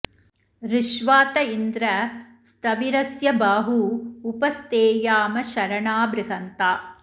ऋष्वा त इन्द्र स्थविरस्य बाहू उप स्थेयाम शरणा बृहन्ता